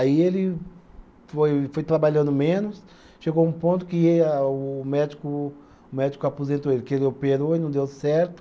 Aí ele foi foi trabalhando menos, chegou um ponto que a o médico, o médico aposentou ele, que ele operou e não deu certo.